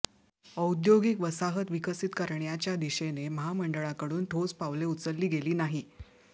औद्योगिक वसाहत विकसित करण्याच्या दिशेने महामंडळाकडून ठोस पावले उचलली गेली नाही